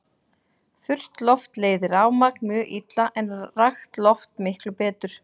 Þurrt loft leiðir rafmagn mjög illa en rakt loft miklu betur.